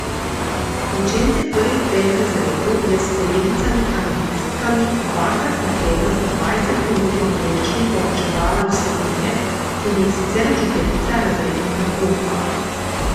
Učence prvih treh razredov je s kolegicami anglistkami dvakrat na teden po dvajset minut v angleščini poučevala vsebine, ki bi jih sicer učiteljica razrednega pouka.